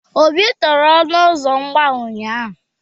Obi tere ọnụ ụzọ agba ụnyahụ.